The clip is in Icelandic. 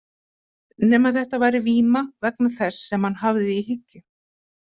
Nema þetta væri víma vegna þess sem hann hafði í hyggju.